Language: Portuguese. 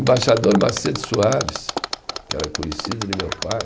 Embaixador Macedo Soares, que era conhecido de meu pai.